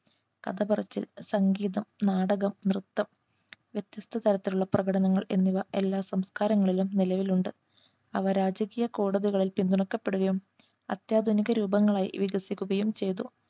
കഥ പറച്ചിൽ സംഗീതം നാടകം നൃത്തം വ്യത്യസ്ത തരത്തിലുള്ള പ്രകടനങ്ങൾ എന്നിവ എല്ലാ സംസ്കാരങ്ങളിലും നിലവിലുണ്ട് അവ രാജകീയ കോടതികളിൽ പിന്തുണക്കപ്പെടുകയും അത്യാധുനിക രൂപങ്ങളായി വികസിക്കുകയും ചെയ്തു